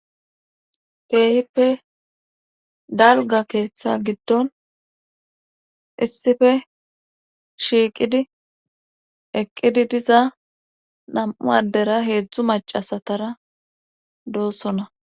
keehippe dalga keeththa giddon issife shiiqidi eqqidi diza nam7u addera heetzdzu macasatara doossonna